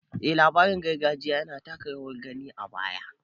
Eh labarin gargajiya yana taka rawar gani a baya